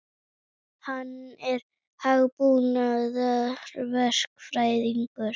Hann er hugbúnaðarverkfræðingur.